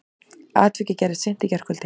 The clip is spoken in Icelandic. Atvikið gerðist í seint í gærkvöldi